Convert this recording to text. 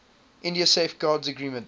india safeguards agreement